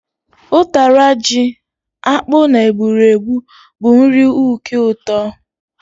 Ụtara ji, akpu na egburegbu bu nri uke ụtọ